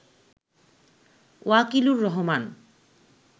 Wakilur Rahman